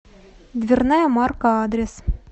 дверная марка адрес